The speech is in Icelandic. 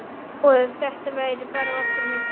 Og að þetta væri bara okkar á milli.